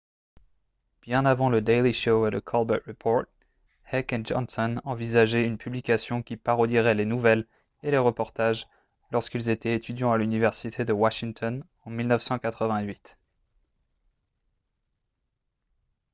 bien avant le daily show et le colbert report heck et johnson envisageaient une publication qui parodierait les nouvelles et les reportages lorsqu'ils étaient étudiants à l'université de washington en 1988